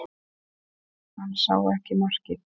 Hann sá ekki markið